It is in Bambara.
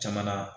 Jamana